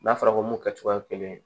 N'a fɔra ko mun kɛcogoya kelen